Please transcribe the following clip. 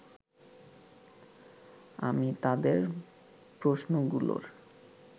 আমি তাদের প্রশ্নগুলোর